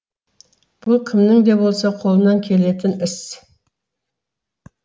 бұл кімнің де болса қолынан келетін іс